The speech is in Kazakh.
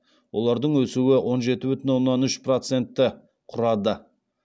олардың өсуі он жеті бүтін оннан үш процентті құрады